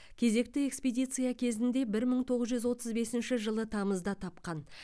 кезекті экспедиция кезінде бір мың тоғыз жүз отыз бесінші жылы тамызда тапқан